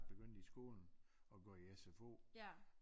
Begyndt i skolen og gå i SFO